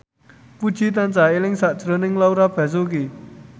Puji tansah eling sakjroning Laura Basuki